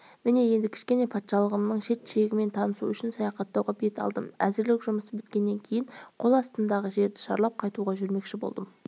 міне енді кішкене патшалығымның шет-шегімен танысу үшін саяхаттауға бет алдым әзірлік жұмысы біткеннен кейін қол астымдағы жерді шарлап қайтуға жүрмекші болдым